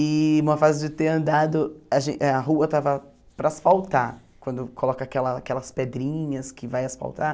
E uma fase de ter andado, a gen a rua estava para asfaltar, quando coloca aquela aquelas pedrinhas que vai asfaltar.